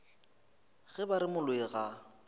ge ba re moloi ga